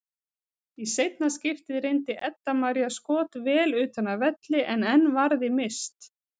Í seinna skiptið reyndi Edda María skot vel utan af velli en enn varði Mist.